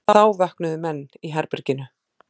Þá vöknuðu menn í herberginu.